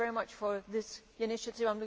So thank you very much for this initiative.